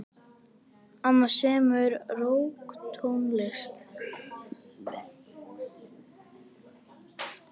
Amma semur rokktónlist.